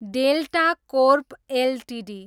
delta Corp Ltd